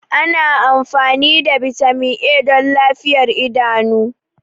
Ana amfani da Vitamin A don lafiyar idanu.